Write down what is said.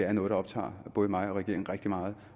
er noget der optager både mig og regeringen rigtig meget